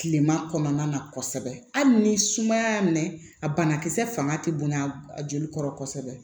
Kilema kɔnɔna na kɔsɛbɛ hali ni sumaya y'a minɛ a banakisɛ fanga ti bonya a joli kɔrɔ kosɛbɛ